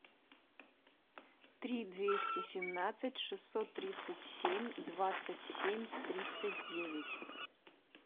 три двести семнадцать шестьсот тридцать семь двадцать семь тридцать девять